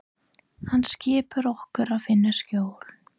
Hann skipar okkur að finna skjól.